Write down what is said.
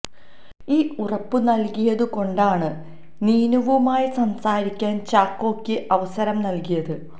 ഈ ഉറപ്പു നൽകിയതു കൊണ്ടാണു നീനുവുമായി സംസാരിക്കാൻ ചാക്കോയ്ക്ക് അവസരം നൽകിയത്